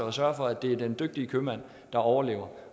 at sørge for at det er den dygtige købmand der overlever